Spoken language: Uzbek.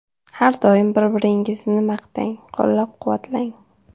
Har doim bir-biringizni maqtang, qo‘llab-quvvatlang.